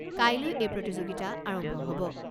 কাইলৈ এই প্ৰতিযোগিতা আৰম্ভ হ'ব।